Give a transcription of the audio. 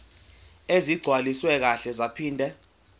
ezigcwaliswe kahle zaphinde